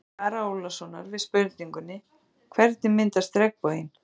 Í svari Ara Ólafssonar við spurningunni: Hvernig myndast regnboginn?